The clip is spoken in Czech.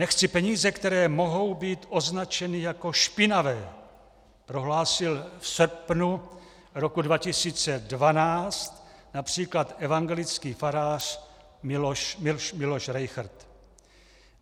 Nechci peníze, které mohou být označeny jako špinavé, prohlásil v srpnu roku 2012 například evangelický farář Miloš Rejchrt.